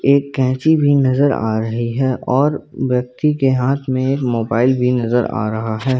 एक कैची भी नजर आ रही है और व्यक्ति के हाथ में एक मोबाइल भी नजर आ रहा है।